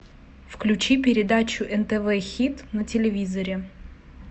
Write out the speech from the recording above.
включи передачу нтв хит на телевизоре